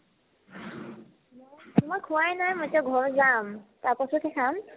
মই খোৱাই নাই এতিয়া ঘৰ যাম তাৰপাছতহে খাম